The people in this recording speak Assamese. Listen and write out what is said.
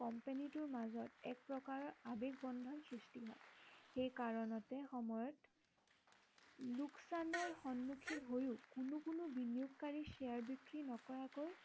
কম্পেনীটোৰ মাজত এক প্ৰকাৰৰ আৱেগ বন্ধন সৃষ্টি হয় সেই কাৰণতে সময়ত লোকচানৰ সন্মূখীন হৈয়ো কোনো কোনো বিনিয়োগকাৰীৰ শ্বেয়াৰ বিক্ৰী নকৰাকৈ